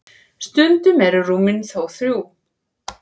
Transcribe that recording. stundum eru rúmin þó þrjú